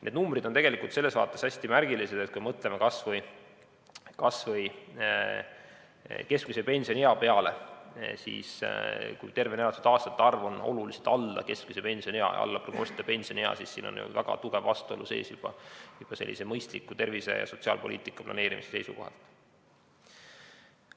Need numbrid on tegelikult selles vaates hästi märgilised, et kui me mõtleme kas või keskmise pensioniea peale, siis kui tervena elatud aastate arv on oluliselt alla praeguse pensioniea, siis siin on sees väga tugev vastuolu juba mõistliku tervise- ja sotsiaalpoliitika planeerimise seisukohalt.